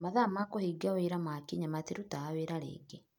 Mathaa ma kũhinga wĩra makinya matirutaga wĩra rĩngĩ.